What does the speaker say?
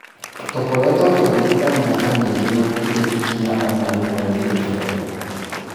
Tũkoretwo tũgĩteta mĩaka mĩingĩ na gũtirĩ ikinya onarĩmwe rĩrĩ rĩoywo